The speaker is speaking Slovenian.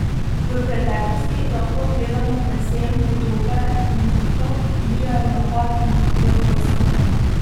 V preteklosti lahko gledamo predvsem podobe konjenikov, ki dirjajo v napad in vodijo vojsko.